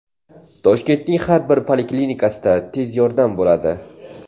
Toshkentning har bir poliklinikasida tez yordam bo‘ladi.